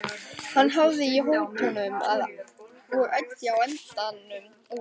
Hann hafði í hótunum og æddi á endanum út.